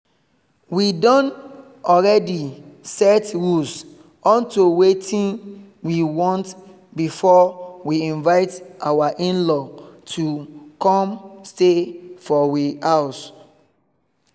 we don already set rules unto wetin we want before we invite our in-law to come stay for we house